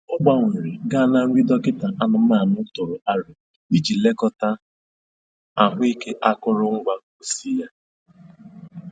Ọ gbanwere gaa na nri dọkịta anụmanụ tụrụ aro iji lekọta ahụ ike akụrụ ngwa pusi ya